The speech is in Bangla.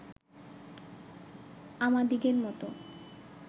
আমাদিগের মত